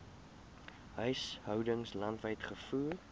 huishoudings landwyd gevoer